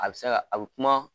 A bi se ka a be kuma